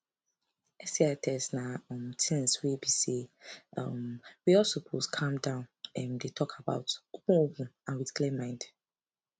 sti test na um things were be say um we all suppose calm down um dey talk about openopen and with clear mind